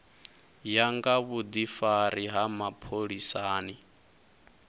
ya nga vhudifari ha mapholisani